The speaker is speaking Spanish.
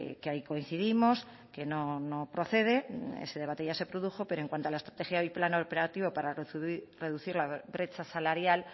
que ahí coincidimos que no procede ese debate ya se produjo pero en cuanto a la estrategia y el plan operativo para reducir la brecha salarial